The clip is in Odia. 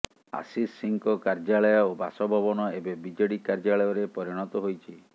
ଆଶିଷ ସିଂଙ୍କ କାର୍ଯ୍ୟାଳୟ ଓ ବାସଭବନ ଏବେ ବିଜେଡ଼ି କାର୍ଯ୍ୟାଳୟରେ ପରିଣତ ହୋଇଛି